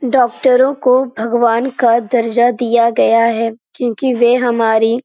डॉक्टरों को भगवान का दर्जा दिया गया हैं क्यूँकि वे हमारी --